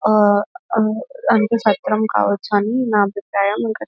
అ ఆ సత్రం కావచ్చు అని నా అభిప్రాయం ఇంకా --